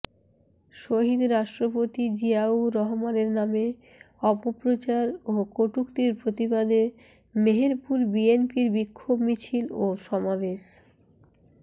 শহীদ রাষ্ট্রপতি জিয়াউর রহমানের নামে অপপ্রচার ও কটুক্তির প্রতিবাদে মেহেরপুর বিএনপির বিক্ষোভ মিছিল ও সমাবেশ